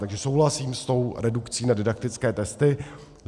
Takže souhlasím s tou redukcí na didaktické testy.